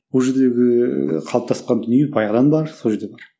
ол жердегі қалыптасқан дүние баяғыдан бар сол жерде бар